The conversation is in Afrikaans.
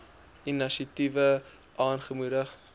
inisiatiewe aangemoedig